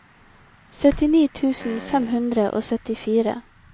syttini tusen fem hundre og syttifire